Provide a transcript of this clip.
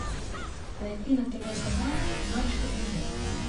найти на тв канал матч премьер